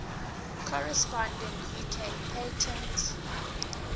corresponding uk patent